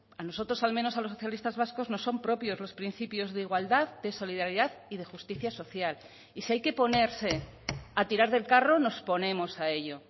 a nosotros al menos a los socialistas vascos nos son propios los principios de igualdad de solidaridad y de justicia social y si hay que ponerse a tirar del carro nos ponemos a ello